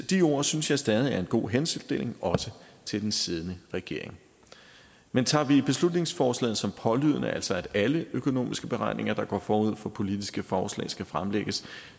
de ord synes jeg stadig er en god henstilling også til den siddende regering men tager vi beslutningsforslaget som pålydende altså at alle økonomiske beregninger der går forud for politiske forslag skal fremlægges